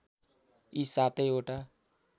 यी सातै वटा